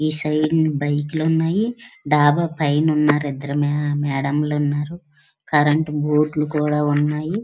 ఈ side bike లు ఉన్నాయి. డాబా పైన ఇద్దరు ఉన్నారు. ఇద్దరు మేడం లు ఉన్నారు. కరెంటు బూట్లు కూడా ఉన్నాయి.